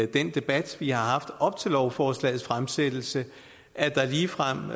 den debat vi har haft op til lovforslagets fremsættelse at der ligefrem